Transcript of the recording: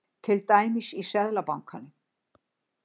Til dæmis í Seðlabankanum.